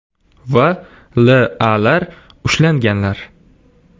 va L.A.lar ushlanganlar.